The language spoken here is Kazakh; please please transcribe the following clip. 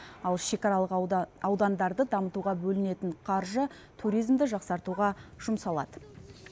ал шекаралық аудандарды дамытуға бөлінетін қаржы туризмді жақсартуға жұмсалады